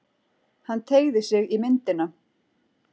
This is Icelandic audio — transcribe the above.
Hann teygði sig í myndina.